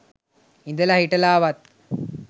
ඉදලා හිටලාවත්.